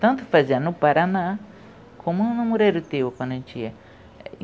Tanto fazia no Paraná, como no Moreiro Teu, quando eu tinha.